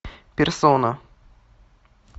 персона